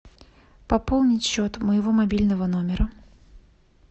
пополнить счет моего мобильного номера